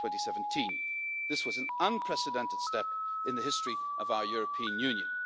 2017. This was an unprecedented step in the history of our European Union.